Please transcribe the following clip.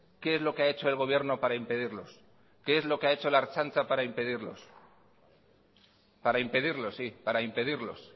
qué es lo que ha hecho el gobierno para impedirlos qué es lo que ha hecho la ertzaintza para impedirlos para impedirlos sí para impedirlos